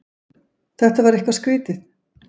Þetta var eitthvað skrýtið.